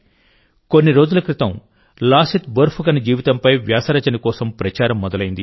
కొన్ని రోజుల క్రితం లాసిత్ బోర్ఫుకన్ జీవితంపై వ్యాస రచన కోసం ప్రచారం మొదలైంది